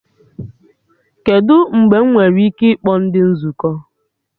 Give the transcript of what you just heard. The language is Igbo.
Kedụ mgbe m nwere ike ịkpọ ndị nzukọ?